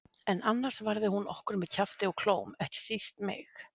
En annars varði hún okkur með kjafti og klóm, ekki síst mig.